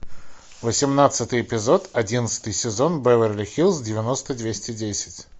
восемнадцатый эпизод одиннадцатый сезон беверли хиллз девяносто двести десять